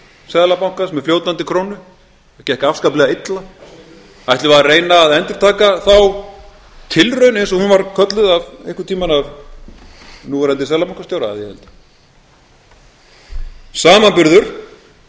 seðlabankans með fljótandi krónu það gekk afskaplega illa ætlum við að reyna að endurtaka þá tilraun eins og hún var einhvern tíma kölluð af núverandi seðlabankastjóra að ég held samanburður